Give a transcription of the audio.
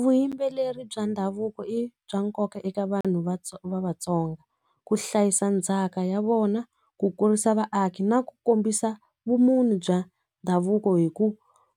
Vuyimbeleri bya ndhavuko i bya nkoka eka vanhu va Vatsonga ku hlayisa ndzhaka ya vona ku kurisa vaaki na ku kombisa vumunhu bya ndhavuko hi ku